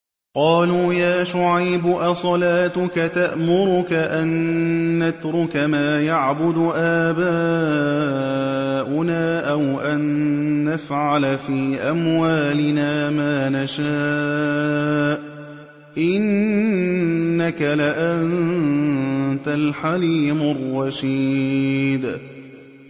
قَالُوا يَا شُعَيْبُ أَصَلَاتُكَ تَأْمُرُكَ أَن نَّتْرُكَ مَا يَعْبُدُ آبَاؤُنَا أَوْ أَن نَّفْعَلَ فِي أَمْوَالِنَا مَا نَشَاءُ ۖ إِنَّكَ لَأَنتَ الْحَلِيمُ الرَّشِيدُ